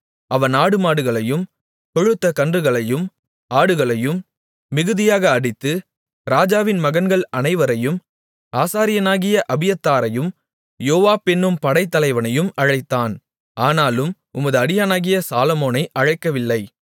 அவன் மாடுகளையும் கொழுத்தக் கன்றுகளையும் ஆடுகளையும் மிகுதியாக அடித்து ராஜாவின் மகன்கள் அனைவரையும் ஆசாரியனாகிய அபியத்தாரையும் யோவாப் என்னும் படைத்தலைவனையும் அழைத்தான் ஆனாலும் உமது அடியானாகிய சாலொமோனை அழைக்கவில்லை